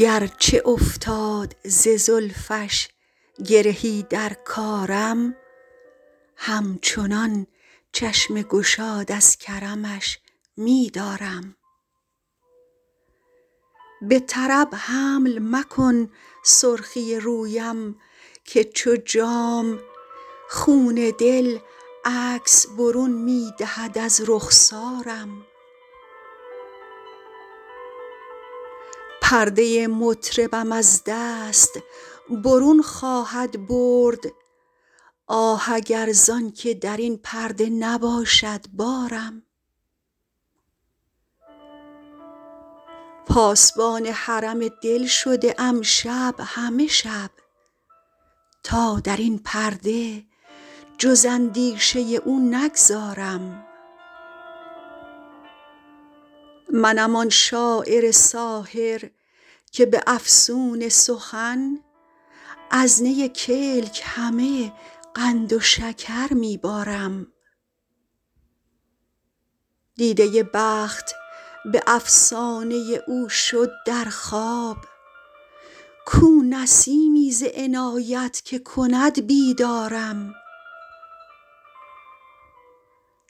گرچه افتاد ز زلفش گرهی در کارم همچنان چشم گشاد از کرمش می دارم به طرب حمل مکن سرخی رویم که چو جام خون دل عکس برون می دهد از رخسارم پرده مطربم از دست برون خواهد برد آه اگر زان که در این پرده نباشد بارم پاسبان حرم دل شده ام شب همه شب تا در این پرده جز اندیشه او نگذارم منم آن شاعر ساحر که به افسون سخن از نی کلک همه قند و شکر می بارم دیده بخت به افسانه او شد در خواب کو نسیمی ز عنایت که کند بیدارم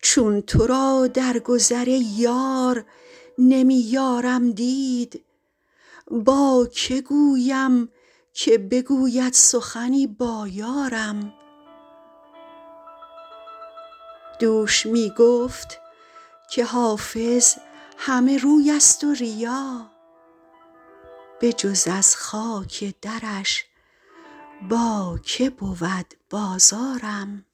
چون تو را در گذر ای یار نمی یارم دید با که گویم که بگوید سخنی با یارم دوش می گفت که حافظ همه روی است و ریا بجز از خاک درش با که بود بازارم